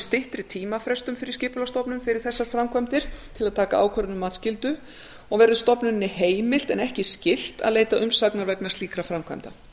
styttri tímafrestum fyrir skipulagsstofnun fyrir þessar framkvæmdir til að taka ákvörðun um matsskyldu og verður stofnuninni heimilt en ekki skylt að leita umsagnar vegna slíkra framkvæmda